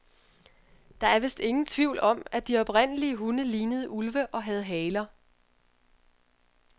Der er vist ingen tvivl om, at de oprindelige hunde lignede ulve og havde haler.